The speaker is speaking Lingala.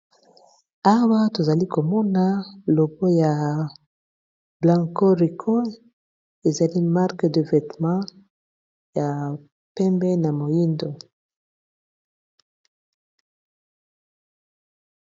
Awa tozali komona logo ya blanco rigo ezali marque de vetement ya pembe na moyindo.